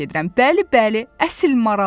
Bəli, bəli, əsl maraldır.